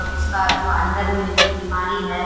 अब उसका जो अंदर में जो बीमारी है --